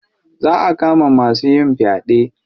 Za a kama duk masu yin faɗe.